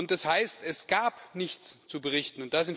Das heißt, es gab nichts zu berichten.